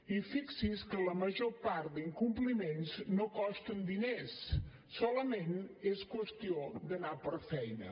i fixi’s que la major part d’incompliments no costen diners solament és qüestió d’anar per feina